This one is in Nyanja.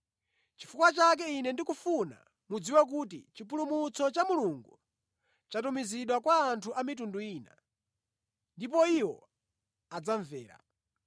“Chifukwa chake ine ndikufuna mudziwe kuti chipulumutso cha Mulungu chatumizidwa kwa anthu a mitundu ina, ndipo iwo adzamvera.”